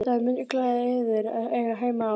Það mundi klæða yður að eiga heima á